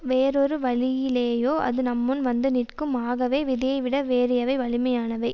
வேறு ஒரு வழியிலேயோ அது நம்முன் வந்து நிற்கும் ஆகவே விதியை விட வேறு எவை வலிமையானவை